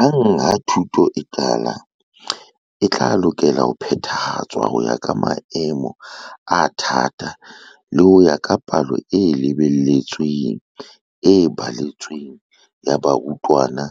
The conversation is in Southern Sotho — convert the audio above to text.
Hang ha thuto e qala, e tla lokela ho phethahatswa ho ya ka maemo a thata le ho ya ka palo e lebeletsweng e baletsweng ya barutwana